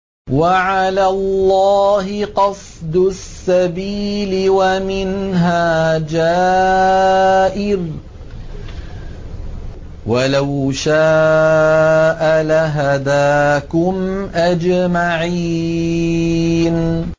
وَعَلَى اللَّهِ قَصْدُ السَّبِيلِ وَمِنْهَا جَائِرٌ ۚ وَلَوْ شَاءَ لَهَدَاكُمْ أَجْمَعِينَ